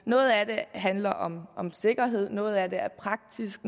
noget af det handler om om sikkerhed noget af det er praktisk